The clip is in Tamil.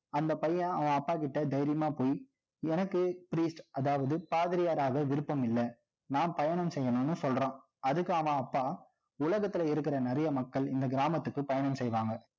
அந்த பையன், அவன் அப்பாகிட்ட, தைரியமா போய் எனக்கு priest அதாவது பாதிரியாராக விருப்பமில்ல. நான் பயணம் செய்யணும்னு சொல்றான். அதுக்கு அவன் அப்பா, உலகத்துல இருக்கிற நிறைய மக்கள், இந்த கிராமத்துக்கு பயணம் செய்வாங்க